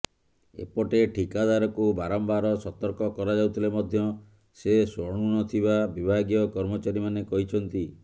ଏପଟେ ଠିକାଦାରକୁ ବାରମ୍ବାର ସତର୍କ କରାଯାଉଥିଲେ ମଧ୍ୟ ସେ ଶୁଣୁନଥିବା ବିଭାଗୀୟ କର୍ମଚାରୀମାନେ କହିଛନ୍ତି